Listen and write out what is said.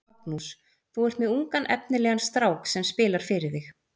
Magnús: Þú er með ungan efnilegan strák sem spilar fyrir þig?